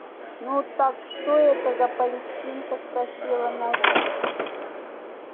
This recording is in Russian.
ну так что это за палестинка спросила настя